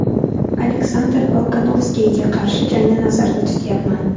Aleksandr Volkanovskiga qarshi jangni nazarda tutyapman.